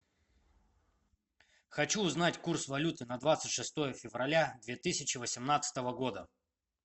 хочу узнать курс валюты на двадцать шестое февраля две тысячи восемнадцатого года